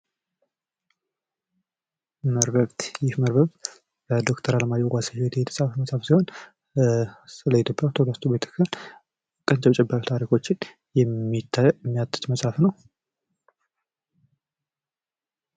መርበብት ይህ መርበብት በዶክተር አለማየሁ ዋሴ የተጻፈ መጽሀፍ ሲሆን ስለ ኢትዮጵያ ኦርቶዶክስ ተዋህዶ ቤተ ክርስቲያን አጫጭር ታሪኮችን የሚያትት መጽሃፍ ነው።